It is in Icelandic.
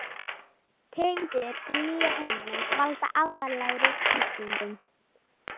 Tegundir í nýja heiminum valda alvarlegri sýkingum.